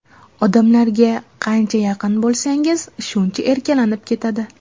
Odamlarga qancha yaqin bo‘lsangiz, shuncha erkalanib ketadi.